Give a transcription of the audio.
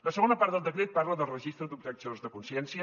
la segona part del decret parla del registre d’objectors de consciència